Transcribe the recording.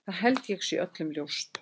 Það held ég sé öllum ljóst.